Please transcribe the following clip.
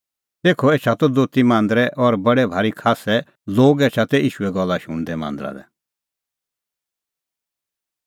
तेखअ एछा त दोती दोथी मांदरै और बडै भारी खास्सै लोग एछा तै ईशूए गल्ला शुणदै मांदरा लै